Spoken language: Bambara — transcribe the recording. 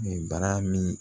Bara min